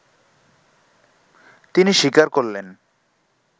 তিনি স্বীকার করলেন